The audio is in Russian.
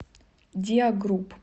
диагрупп